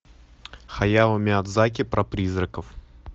хаяо миядзаки про призраков